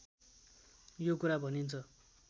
यो कुरा भनिन्छ